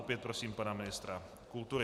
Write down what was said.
Opět prosím pana ministra kultury.